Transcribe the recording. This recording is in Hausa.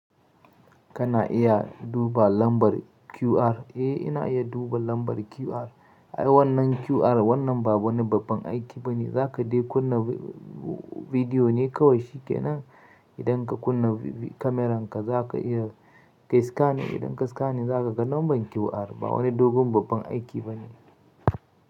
Kana iya duba lambar QR? Eh ina iya duba lambar QR. Ai wannan QR wannan ba wani babban aiki bane. Zaka de kunna bidiyo ne kawai shikenan. Idan ka kunna kameranka zaka iya kai scanning. Idan ka scanning zaka ga lambar QR. Ba wani dogon babban aiki bane.